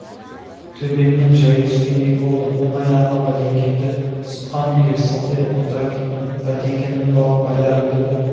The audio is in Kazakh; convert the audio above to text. төбемнен жай түскендей болды оң аяғыма бәтеңкемді сұққан күйі сылқиып отыра кеттім бәтеңкемнің бауын байларымды да